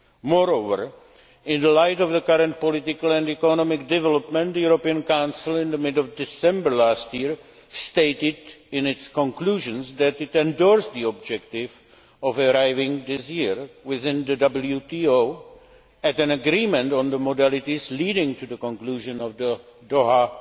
Moreover, in the light of the current political and economic development, the European Council in mid December last year stated in its conclusions that it endorsed the objective of arriving this year, within the WTO, at an agreement on the modalities leading to the conclusion of the Doha